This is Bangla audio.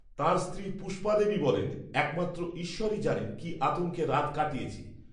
তাঁর স্ত্রী পুষ্পাদেবী বলেন, একমাত্র, ঈশ্বরই জানেন, কি আতঙ্কে রাত কাটিয়েছি